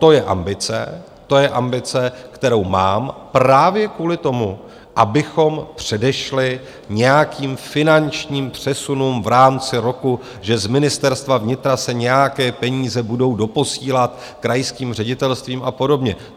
To je ambice, kterou mám právě kvůli tomu, abychom předešli nějakým finančním přesunům v rámci roku, že z Ministerstva vnitra se nějaké peníze budou doposílat krajským ředitelstvím a podobně.